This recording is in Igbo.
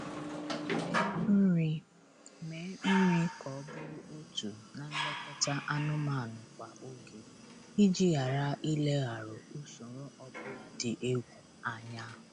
Mee nri Mee nri ka ọ bụrụ otu na nlekọta anụmanụ kwa oge iji ghara ilegharụ usoro ọbụla dị egwu anya